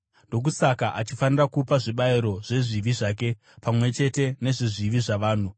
Ndokusaka achifanira kupa zvibayiro zvezvivi zvake, pamwe chete nezvezvivi zvavanhu.